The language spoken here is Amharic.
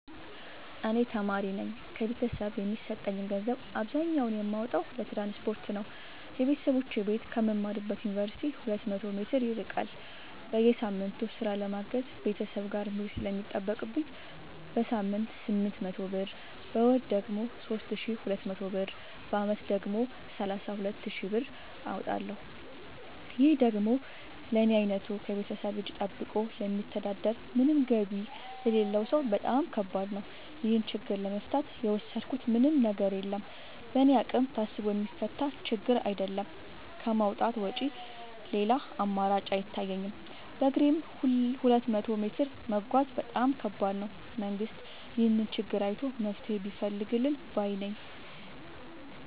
እኔ ተማሪነኝ ከቤተሰብ የሚሰጠኝን ገንዘብ አብዛኛውን የማወጣው ለትራንስፖርት ነው የበተሰቦቼ ቤት ከምማርበት ዮንቨርሲቲ ሁለት መቶ ሜትር ይርቃል። በየሳምቱ ስራ ለማገዝ ቤተሰብ ጋር መሄድ ስለሚጠቅብኝ በሳምንት ስምንት መቶ ብር በወር ደግሞ ሶስት ሺ ሁለት መቶ ብር በአመት ደግሞ ሰላሳ ሁለት ሺ ብር አወጣለሁ ይህ ደግሞ ለኔ አይነቱ ከቤተሰብ እጂ ጠብቆ ለሚተዳደር ምንም ገቢ ለሌለው ሰው በጣም ከባድ ነው። ይህን ችግር ለመፍታት የወሰድኩት ምንም ነገር የለም በእኔ አቅም ታስቦ የሚፈታ ችግርም አይደለም ከማውጣት ውጪ ሌላ አማራጭ አይታየኝም በግሬም ሁለት መቶ ሜትር መጓዝ በጣም ከባድ ነው። መንግስት ይህንን ችግር አይቶ መፍትሔ ቢፈልግልን ባይነኝ።